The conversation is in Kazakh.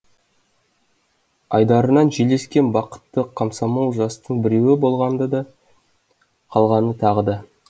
айдарынан жел ескен бақытты комсомол жастың біреуі болған да қалған тағы да